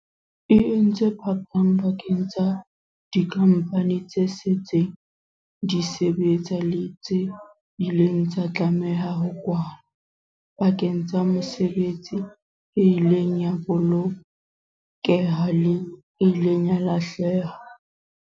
E entse phapang pakeng tsa dikhampani tse setseng di sebetsa le tse ileng tsa tlameha ho kwalwa, pakeng tsa mesebetsi e ileng ya bolokeha le e ileng ya lahleha.